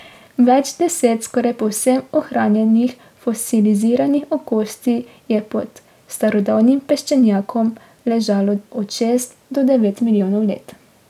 Več deset skoraj povsem ohranjenih fosiliziranih okostji je pod starodavnim peščenjakom ležalo od šest do devet milijonov let.